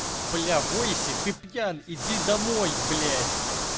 бля войси ты пьян иди домой блять